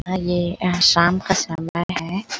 हा ये शाम का समय है।